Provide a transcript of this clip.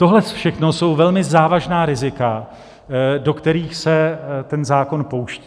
Tohle všechno jsou velmi závažná rizika, do kterých se ten zákon pouští.